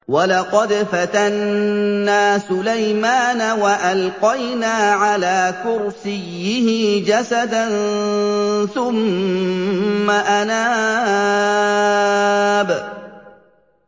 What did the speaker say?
وَلَقَدْ فَتَنَّا سُلَيْمَانَ وَأَلْقَيْنَا عَلَىٰ كُرْسِيِّهِ جَسَدًا ثُمَّ أَنَابَ